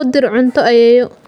U dir cunto ayeeyo.